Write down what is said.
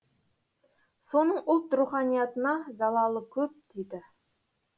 соның ұлт руханиятына залалы көп тиді